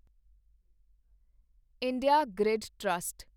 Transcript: India grid trust